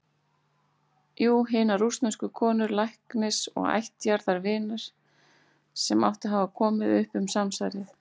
Jú- hinnar rússnesku konu, læknis og ættjarðarvinar, sem átti að hafa komið upp um samsærið.